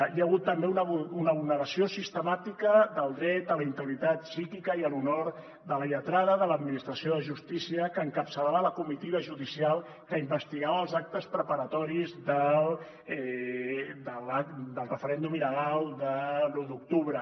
hi ha hagut també una vulneració sistemàtica del dret a la integritat psíquica i a l’honor de la lletrada de l’administració de justícia que encapçalava la comitiva judicial que investigava els actes preparatoris del referèndum il·legal de l’u d’octubre